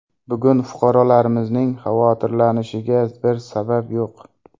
Bugun fuqarolarimizning xavotirlanishiga bir sabab yo‘q.